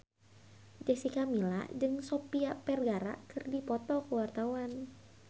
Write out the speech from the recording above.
Jessica Milla jeung Sofia Vergara keur dipoto ku wartawan